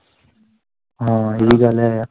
ਹਾਂ ਇਵੀਂ ਗੱਲ ਹੈ ਆ ਹਮ